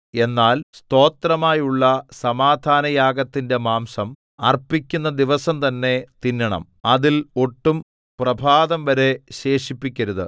എന്നാൽ സ്തോത്രമായുള്ള സമാധാനയാഗത്തിന്റെ മാംസം അർപ്പിക്കുന്ന ദിവസം തന്നെ തിന്നണം അതിൽ ഒട്ടും പ്രഭാതംവരെ ശേഷിപ്പിക്കരുത്